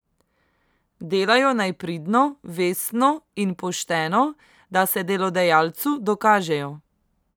Delajo naj pridno, vestno in pošteno, da se delodajalcu dokažejo.